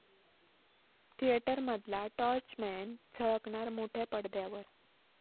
थिएटरमधला torchman झळकणार मोठ्या पडद्यावर